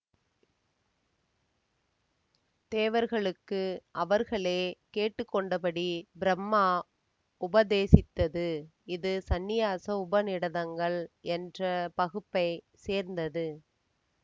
தேவர்களுக்கு அவர்களே கேட்டுக்கொண்டபடி பிரம்மா உபதேசித்தது இது சன்னியாச உபநிடதங்கள் என்ற பகுப்பைச் சேர்ந்தது